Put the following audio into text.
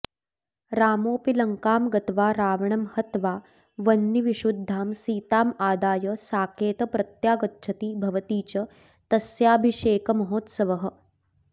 रामोऽपि लङ्कां गत्वा रावणं हत्वा वह्निविशुद्धां सीतामादाय साकेत प्रत्यागच्छति भवति च तस्याभिषेकमहोत्सवः